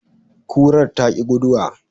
Kurar ta ƙi guduwa.